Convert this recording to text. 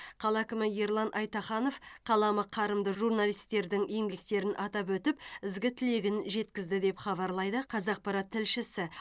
қала әкімі ерлан айтаханов қаламы қарымды журналистердің еңбектерін атап өтіп ізгі тілегін жеткізді деп хабарлайды қазақпарат тілшісі